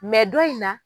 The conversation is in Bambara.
don in na